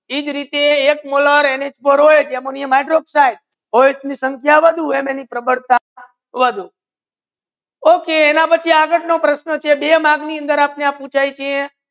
ઇ જે રીટે ammonia hydroxide O H ની સાંખ્ય વધુ એનિ પ્રબલતા વધુ okay એના પચી આગડ બે નિશાન નુ પ્રશ્ના છે ની અંદર અપને પૂછે છે